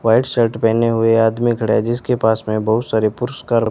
white shirt पहने हुए आदमी खड़ा है जिसके पास में बहुत सारे पुरस्कार--